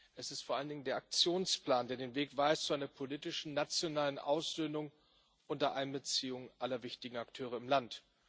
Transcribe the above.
Es ist vor allen Dingen der Aktionsplan, der den Weg weist zu einer politischen nationalen Aussöhnung unter Einbeziehung aller wichtigen Akteure im Land.